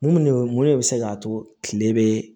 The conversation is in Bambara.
Mun de mun de bɛ se k'a to kile bɛ